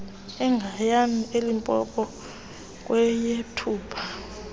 egiyani elimpopo kweyethupha